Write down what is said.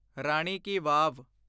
Rani ki Wab